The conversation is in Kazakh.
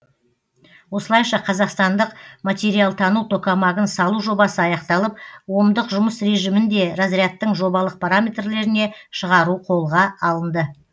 осылайша қазақстандық материалтану токамагын салу жобасы аяқталып омдық жұмыс режимінде разрядтың жобалық параметрлеріне шығару қолға алынды